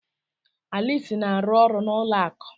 Alice na-arụ ọrụ n'ụlọ akụ.